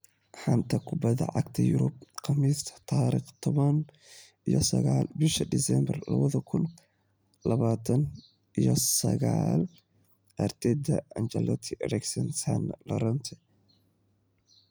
Xanta Kubadda Cagta Yurub Khamiista tariqh tobaan iyo sagaal busha diseembar labada kuun iyo tobaan iyo sagalka: Arteta, Ancelotti, Eriksen, Sane, Llorente